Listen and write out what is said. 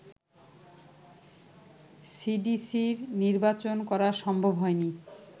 সিডিসির নির্বাচন করা সম্ভব হয়নি